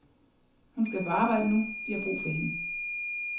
Hun skal på arbejde nu, de har brug for hende.